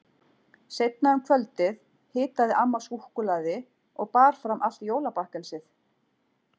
Seinna um kvöldið hitaði amma súkkulaði og bar fram allt jólabakkelsið.